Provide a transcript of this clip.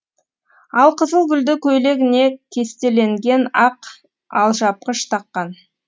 алқызыл гүлді көйлегіне кестеленген ақ алжапқыш таққан